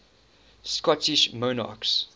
scottish monarchs